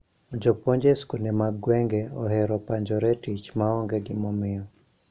Jopuonj e skunde mag gwenge, ohero panjone tich maonge gimomiyo.